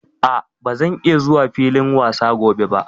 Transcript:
A', ba zan iya zuwa filin wasa gobe ba.